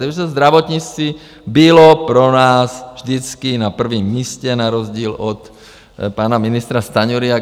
Takže zdravotnictví bylo pro nás vždycky na prvním místě, na rozdíl od pana ministra Stanjury.